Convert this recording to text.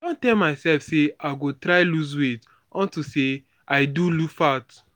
i don tell myself say i go try lose weight unto say i do fat